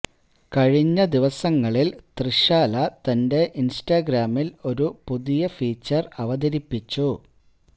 കഴിഞ്ഞ ദിവസങ്ങളില് തൃഷാല തന്റെ ഇന്സ്റ്റ്രഗാമില് ഒരു പുതിയ ഫീച്ചര് അവതരിപ്പിച്ചു